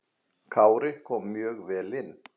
Kári kom mjög vel inn.